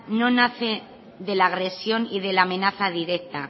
no nace de la agresión y de la amenaza directa